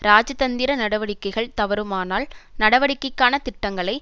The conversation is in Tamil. இராஜதந்திர நடவடிக்கைகள் தவறுமானால் நடவடிக்கைக்கான திட்டங்களை